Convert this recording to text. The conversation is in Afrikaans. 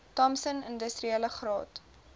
thompson industriele graad